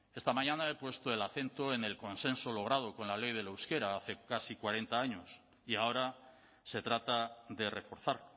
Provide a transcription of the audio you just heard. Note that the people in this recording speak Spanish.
esta mañana he puesto el acento en el consenso logrado con la ley del euskera hace casi cuarenta años y ahora se trata de reforzar